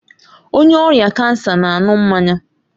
Onye ọrịa kansa na-aṅụ mmanya